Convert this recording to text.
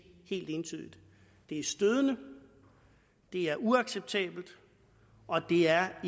helt entydigt det er stødende det er uacceptabelt og det er